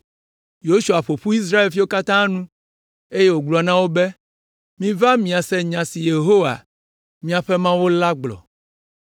Yosua ƒo ƒu Israelviwo katã nu, eye wògblɔ na wo be, “Miva miase nya si Yehowa, míaƒe Mawu la gblɔ.